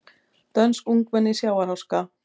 Dönsk ungmenni í sjávarháska